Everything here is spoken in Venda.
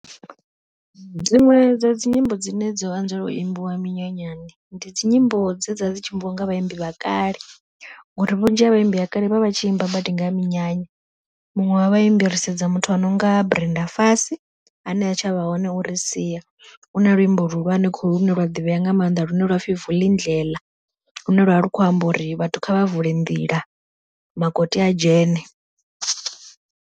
Dziṅwe dza dzi nyimbo dzine dzo anzela u imbiwa minyanyani, ndi dzi nyimbo dze dza dzi tshi imbiwa nga vhaimbi vhakale, uri vhunzhi ha vhaimbi vha kale vha vha tshi imba badi nga ha minyanya. Muṅwe wa vha imbi ri sedza muthu ano nga Brenda Fassie ane ha tshavha hone ori sia, u na luimbo luhulwane kholu lune lwa ḓivhea nga maanḓa lune lwapfhi Vulindela lune lwa vha lu khou amba uri vhathu kha vha vule nḓila makoti a dzhene.